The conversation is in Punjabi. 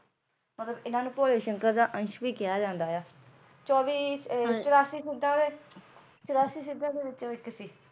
ਮਤਲਬ ਇਹਨਾਂ ਨੂੰ ਭੋਲੇ ਸ਼ੰਕਰ ਦਾ ਅੰਸ਼ ਵੀ ਕਿਹਾ ਜਾਂਦਾ ਆ ਚੌਵੀ ਚੁਰਾਸੀ ਸਿੱਧਾਂ ਦੇ ਚੁਰਾਸੀ ਸਿੱਧਾਂ ਦੇ ਵਿੱਚੋ ਇੱਕ ਸੀ